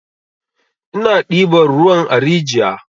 Ina ɗiban ruwan a rijiya.